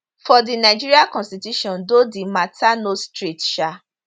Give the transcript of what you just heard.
for di nigeria constitution though di mata no straight um